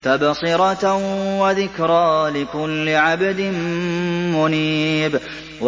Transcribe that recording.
تَبْصِرَةً وَذِكْرَىٰ لِكُلِّ عَبْدٍ مُّنِيبٍ